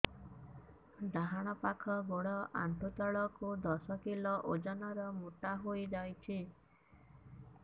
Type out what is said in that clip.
ଡାହାଣ ପାଖ ଗୋଡ଼ ଆଣ୍ଠୁ ତଳକୁ ଦଶ କିଲ ଓଜନ ର ମୋଟା ହେଇଯାଇଛି